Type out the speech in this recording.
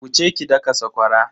Wuce ki daka sakwara.